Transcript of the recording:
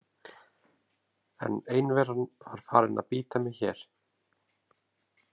En einveran var farin að bíta mig hér.